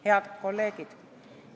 Head kolleegid!